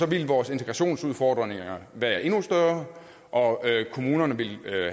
ville vores integrationsudfordringer være endnu større og kommunerne ville